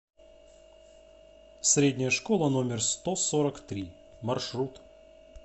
средняя школа номер сто сорок три маршрут